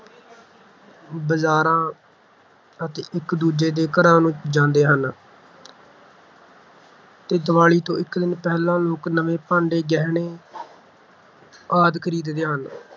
ਬਾਜ਼ਾਰਾਂ ਅਤੇ ਇੱਕ ਦੂਜੇ ਦੇ ਘਰਾਂ ਨੂੰ ਜਾਂਦੇ ਹਨ ਤੇ ਦੀਵਾਲੀ ਤੋਂ ਇਕ ਦਿਨ ਪਹਿਲਾਂ, ਲੋਕ ਨਵੇਂ ਭਾਂਡੇ, ਗਹਿਣੇ ਆਦਿ ਖਰੀਦਦੇ ਹਨ।